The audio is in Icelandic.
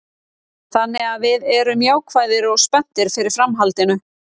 Þannig að við erum jákvæðir og spenntir fyrir framhaldinu.